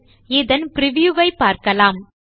சரி இதன் பிரிவ்யூ வை பார்க்கலாம்